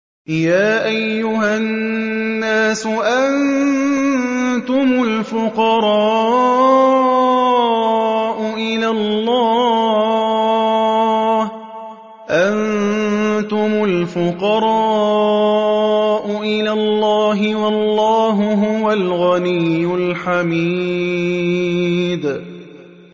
۞ يَا أَيُّهَا النَّاسُ أَنتُمُ الْفُقَرَاءُ إِلَى اللَّهِ ۖ وَاللَّهُ هُوَ الْغَنِيُّ الْحَمِيدُ